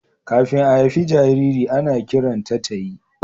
Kafin a haifi jariri, ana kiranta tayi.